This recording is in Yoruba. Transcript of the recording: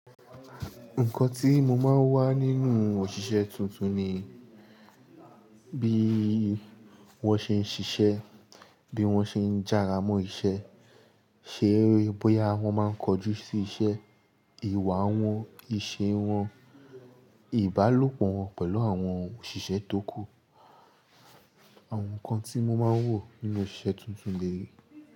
Nǹkan tí mo máa ń wà nínú òṣìṣẹ́ tuntun ni bí wọ́n ṣe ń ṣiṣẹ́, bí wọ́n ṣe ń jára mọ́ iṣẹ́, ṣé bóyá wọ́n máa ń kojú sí iṣẹ́, ìwà wọ́n, ìṣe wọ́n, ìbálòpọ̀ wọ́n pẹ̀lú àwọn òṣìṣẹ́ tókù. Àwọn nǹkan tí mo máa ń wò nínú òṣìṣẹ́ tuntun lẹ̀yii.